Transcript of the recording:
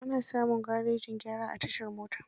Ana samun garejin gyara a tashar mota.